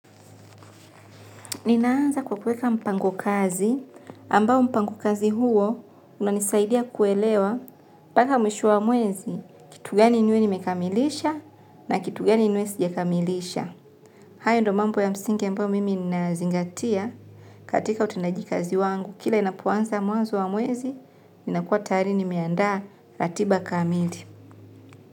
Ninaanza kwa kuweka mpango kazi, ambao mpango kazi huo unanisaidia kuelewa mpaka mwisho wa mwezi, kitu gani niwe nimekamilisha na kitu gani niwe sijakamilisha. Hayo ndo mambo ya msinge mbayo mimi ninayazingatia katika utendaji kazi wangu, kila inapuanza mwazo wa mwezi, ninakuwa tayari nimiandaa ratiba kamili.